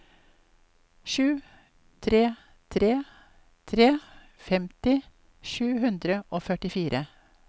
sju tre tre tre femti sju hundre og førtifire